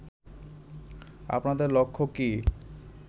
আপনাদের লক্ষ্য কী